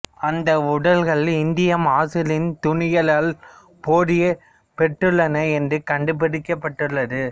அந்தப் உடல்கள் இந்திய மசுலின் துணிகளால் பொதியப் பெற்றுள்ளன என்று கண்டுபிடிக்கப்பட்டுள்ளது